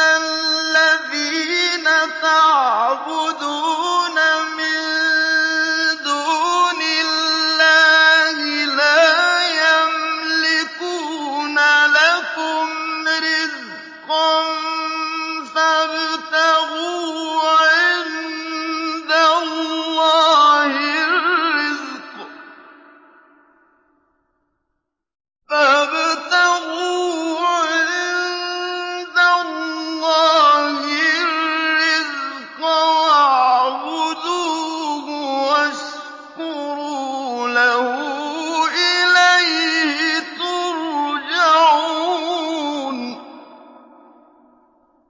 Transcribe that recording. الَّذِينَ تَعْبُدُونَ مِن دُونِ اللَّهِ لَا يَمْلِكُونَ لَكُمْ رِزْقًا فَابْتَغُوا عِندَ اللَّهِ الرِّزْقَ وَاعْبُدُوهُ وَاشْكُرُوا لَهُ ۖ إِلَيْهِ تُرْجَعُونَ